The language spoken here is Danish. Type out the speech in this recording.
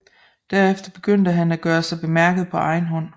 Derefter begyndte han at gøre sig bemærket på egen hånd